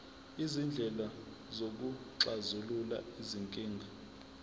izindlela zokuxazulula izinkinga